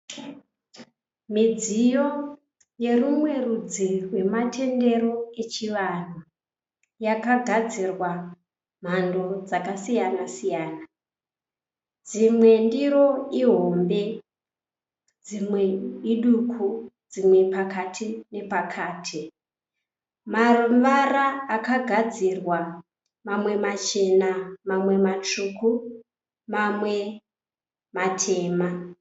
Midziyo yerumwe rudzi rwematendero echivanhu yakagadzirwa mhando dzakasiyana siyana. Dzimwe ndiro ihombe, dzimwe iduku dzimwe pakati nepakati. Mavara akagadzirwa mamwe machena, mawe matsvuku, mamwe matema.